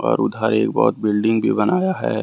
और उधर एक बहोत बिल्डिंग भी बनाया है।